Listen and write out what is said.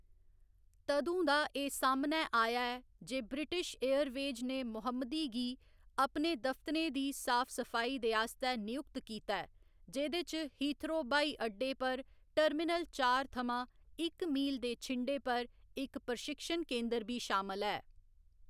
तदूं दा एह्‌‌ सामनै आया ऐ जे ब्रिटिश एयरवेज ने मोहम्मदी गी अपने दफ्तरें दी साफ सफाई दे आस्तै नयुक्त कीता ऐ, जेह्‌‌‌दे च हीथ्रो ब्हाई अड्डे पर टर्मिनल चार थमां इक मील दे छिंडे पर इक प्रशिक्षण केंदर बी शामल ऐ।